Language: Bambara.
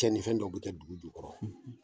Tiɲɛnifɛn dɔ bɛ kɛ dugu jukɔrɔ